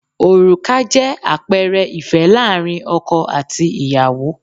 Òrùka jẹ́ àpẹẹrẹ ìfẹ́ láàárín ọkọ àti ìyàwó